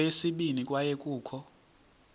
kweyesibini kwaye kukho